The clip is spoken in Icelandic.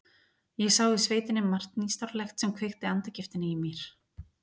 Ég sá í sveitinni margt nýstárlegt sem kveikti andagiftina í mér.